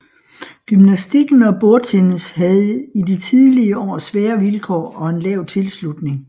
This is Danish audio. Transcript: Gymnastikken og bordtennis havde i de tidlige år svære vilkår og en lav tilslutning